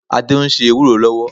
Adé ń se ewúró lọ́wọ́.